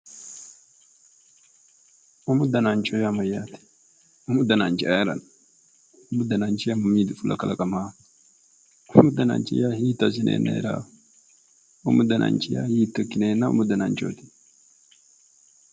Umu dananchi yaa mayyate? umu dananchi ayerano umu dananchi mami fulaaho umu dananchi mami kalaqamaaho umu dananchi hiitto ikkineenna umu dananchooti